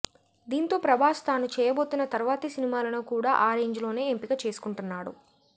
దీంతో ప్రభాస్ తాను చేయబోతున్న తర్వాతి సినిమాలను కూడా ఆ రేంజ్లోనే ఎంపిక చేసుకుంటున్నాడు